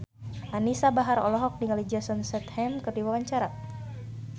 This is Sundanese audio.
Anisa Bahar olohok ningali Jason Statham keur diwawancara